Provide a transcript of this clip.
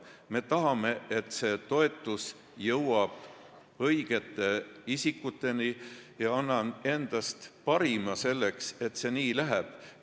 Me tahame, et see toetus jõuab õigete isikuteni, ja ma annan endast parima, et see nii läheks.